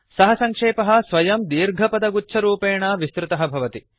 सः सङ्क्षेपः स्वयं दीर्घपदगुच्छरूपेण विस्तृतः भवति